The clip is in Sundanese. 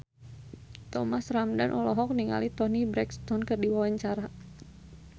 Thomas Ramdhan olohok ningali Toni Brexton keur diwawancara